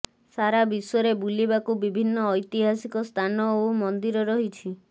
ସାରା ବିଶ୍ୱରେ ବୁଲିବାକୁ ବିଭିନ୍ନ ଐତିହାସିକ ସ୍ଥାନ ଓ ମନ୍ଦିର ରହିଛି